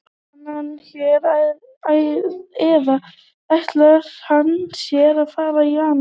Er hann hér eða ætlar hann sér að fara í janúar?